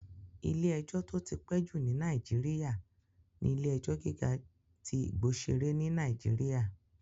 Ilé-ẹjọ́ tó ti pẹ́ jù ní Nàìjíríyà ní Ilé-ẹjọ́ gíga tí Igbosere ní Nàìjíríyà